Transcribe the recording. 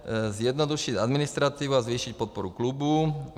Zjednodušit administrativu a zvýšit podporu klubů.